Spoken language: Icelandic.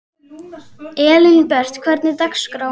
Elínbet, hvernig er dagskráin?